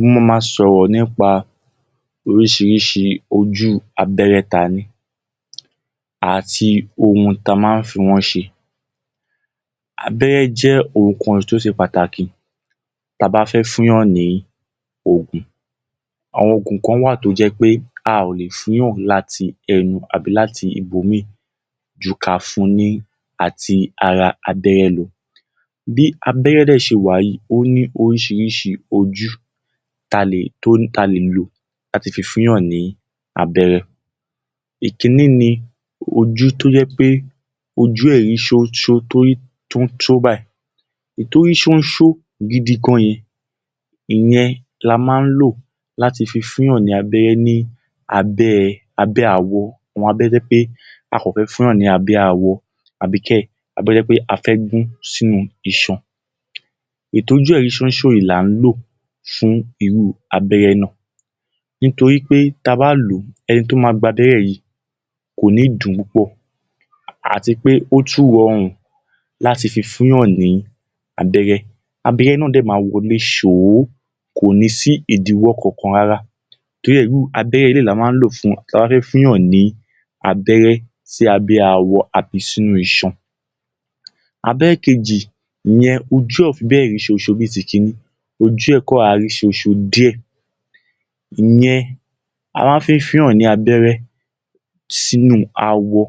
Mo ma ma sọ̀rọ̀ nipa oríṣiríṣi ojú abẹ́rẹ́ ta ní àti ohun ta ma ń fi wọ́n ṣe. Abẹ́rẹ́ jẹ́ ohun kan tó ṣe pàtàkì ta bá fẹ́ fúnyàn ní òògùn. Àwọn òògùn kan wà tó jẹ́ pé a ò le fúnyàn láti ẹnu àbi láti ibòmíì ju ká fún un láti ara abéré lọ. Bí abẹ́rẹ́ dè ṣe wà yìí, ó ní oríṣiríṣi ojú to ní, ta le lò, láti fi fúnyàn ní abẹ́rẹ́. Ìkínní ni ojú tó jẹ́ pé ojú ẹ̀ rí ṣonṣo, tó rí ṣonṣo báyìí. Èyí tó rí ṣonṣo gidi gan yẹn, ìyẹn la má ń lò láti fi fúnyàn ní abẹ́rẹ́ ní abẹ́…abẹ́ awọ, abẹ́rẹ́ tó jẹ́ wí pé a kàn fé fúnyàn ní abẹ́ awọ, àbí kẹ̀ abẹ́rẹ́ tó jẹ́ pé a fẹ́ gún sínú iṣan. Èyí tójú ẹ̀ rí ṣonṣo yìi là n lò fun irú abẹ́rẹ́ náà nítorí pé ta bá lò ó, ẹni tó ma gbabẹ́rẹ́ yìí ko ní dùn ún púpọ̀ àti pé ó tún rọrùn láti fi fúnyàn ní abẹ́rẹ́. Abẹ́rẹ́ náà dẹ̀ ma wọlé ṣòó, kò ní sí idíwọ́ kankan rárá, torí ẹ́ abẹ́rẹ́ eleyìí la má ń lò ta bá fé fúnyàn ní abẹ́rẹ́ sí abẹ awọ àbí sínú iṣan. Abẹ́rẹ́ kejì, iyẹ̀n ojú ẹ̀ ò fi béè rí ṣonṣo bíi t’ìkínní. Ojú ẹ̀ kàn rọra rí ṣonṣo díẹ̀. Ìyẹn a má ń fi ń fúnyàn ní abẹ́rẹ́ sínú awọ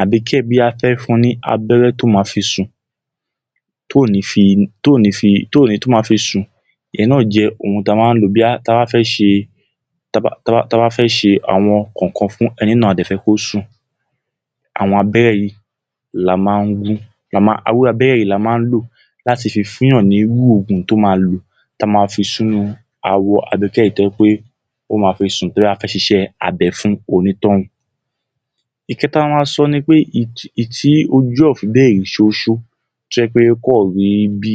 àbí kẹ̀ ta bá fẹ́ fun ní abẹ́rẹ́ tó ma fi sùn… tí ò ní fi…tóo ní fi… tó ma fi sùn. Ìyẹn náà jẹ́ ohun ta máa ń lọ̀, bóyá ta bá fẹ́ ṣe… ta bá fẹ́ ṣe ǹkan kọ̀ọ̀kan fún ẹni náà, a dè fẹ́ kó sùn. Àwọn abẹ́rẹ́ yìí la máá ń…irú abẹ́rẹ́ yìí la má ń lò láti fi fúnyàn ní irú òògùn tó ma lò, ta ma fi sínú awọ, abẹ́rẹ́ tó jẹ́ pé ó ma fi sùn, torí pé a fẹ́ ṣiṣẹ́ abẹ fún onítọ̀ún. Ìkẹta ta ma sọ nipé èyí tí ojú ẹ̀ ò fi bẹ́ẹ̀ rí ṣonṣo, tó jẹ́ pé ó kan rí bí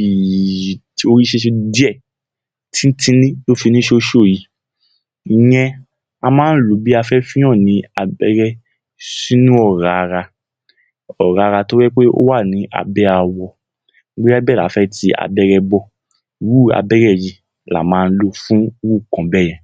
i, ó rí? díẹ̀, tí-ń-tíní ló fi rí ṣonṣo yìí. Ìyẹn a má ń lò ó bóyá a fé fúnyàn ní abẹ́rẹ́ sínú ọ̀rá ara, ọ̀rá ara tó jẹ́ wí pé ó wà ní abé awọ bóyá ibẹ̀ la fẹ́ kí abẹ́rẹ́ wọ̀, irú abẹ́rẹ́ yìí la má ń lò fún ’rú nǹkan bẹ́yẹn.